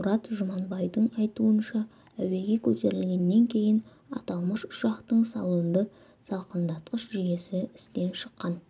мұрат жұманбайдың айтуынша әуеге көтерілгеннен кейін аталмыш ұшақтың салонды салқындатқыш жүйесі істен шыққан